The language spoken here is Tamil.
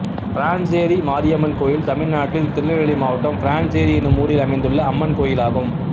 பிரான்சேரி மாரியம்மன் கோயில் தமிழ்நாட்டில் திருநெல்வேலி மாவட்டம் பிரான்சேரி என்னும் ஊரில் அமைந்துள்ள அம்மன் கோயிலாகும்